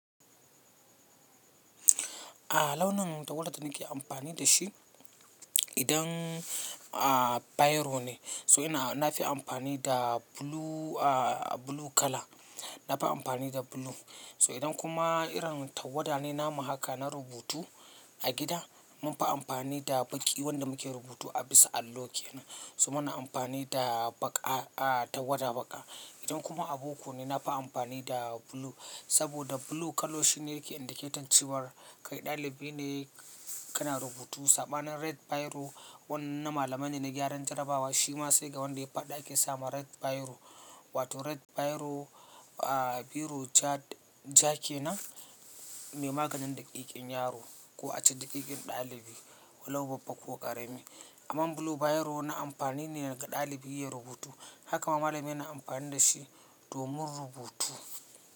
A launin tawadar da nake amfani da shi idan, a biro ne, so ina na fi amfani da blue, a blue kala. Na fi amfani da blue. So idan kuma irin tawada ne namu haka, na rubutu a gida, mun fi amfani da baƙi wanda muke rubutu a bisa allo ke nan. So muna amfani da baƙa, a tawada baƙa. Idan kuma abu uku ne, na fi amfani da blue saboda blue kalo shine yake indicating cewar kai dalibi ne kana rubutu. Saɓanin red biro wannan na malamai ne na gyaran jarabawa. Shi ma sai ga wanda ya faɗi ake sama red biro wato red biro, a biro ja kenan mai maganin daƙiƙin yaro ko ace daƙiƙin dalibi, walau babba ko ƙarami. Amman blue biro na amfani ne ga dalibi ya rubutu. Haka ma malami yana amfani da shi domin rubutu.